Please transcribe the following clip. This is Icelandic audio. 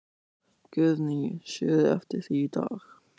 Guðný: Sérðu eftir því í dag?